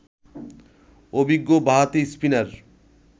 অভিজ্ঞ বাঁহাতি স্পিনার